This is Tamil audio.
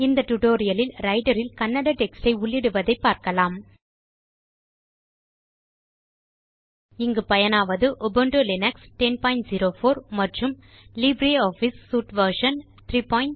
இந்த டியூட்டோரியல் லில் ரைட்டர் இல் கன்னட டெக்ஸ்ட் யை உள்ளிடுவதைப் பார்க்கலாம் இங்கு பயனாவது உபுண்டு லினக்ஸ் 1004 மற்றும் லிப்ரியாஃபிஸ் சூட் வெர்ஷன் 334